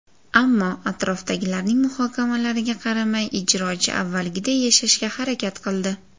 Ammo atrofdagilarning muhokamalariga qaramay, ijrochi avvalgiday yashashga harakat qildi.